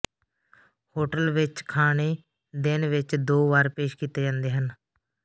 hotel ਵਿਚ ਖਾਣੇ ਦਿਨ ਵਿਚ ਦੋ ਵਾਰ ਪੇਸ਼ ਕੀਤੇ ਜਾਂਦੇ ਹਨ